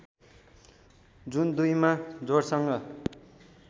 जुन २ मा जोडसँग